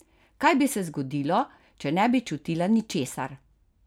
Kaj bi se zgodilo, če ne bi čutila ničesar?